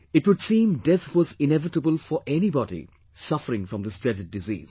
It would seem death was inevitable for anybody suffering from this dreaded disease